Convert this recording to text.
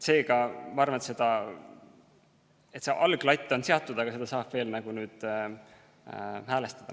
Seega, ma arvan, et alglatt on seatud, aga seda saab nüüd veel natukene häälestada.